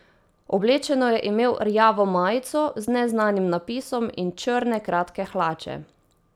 Oblečeno je imel rjavo majico z neznanim napisom in črne kratke hlače.